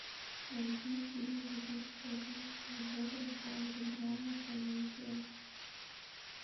найди фильм две тысячи одиннадцатого года в жанре драма комедия